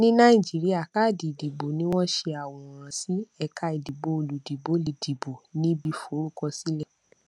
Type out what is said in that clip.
ní nàìjíríà káàdì ìdìbò ni wọn ṣe àwòrán sí ẹka ìdìbò olùdìbò lè dìbò níbi forúkọsílẹ